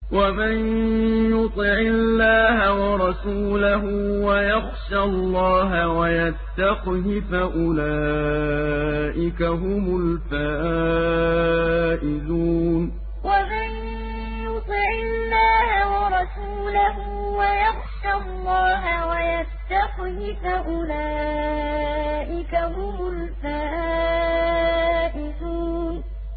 وَمَن يُطِعِ اللَّهَ وَرَسُولَهُ وَيَخْشَ اللَّهَ وَيَتَّقْهِ فَأُولَٰئِكَ هُمُ الْفَائِزُونَ وَمَن يُطِعِ اللَّهَ وَرَسُولَهُ وَيَخْشَ اللَّهَ وَيَتَّقْهِ فَأُولَٰئِكَ هُمُ الْفَائِزُونَ